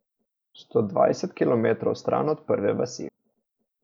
Sto dvajset kilometrov stran od prve vasi.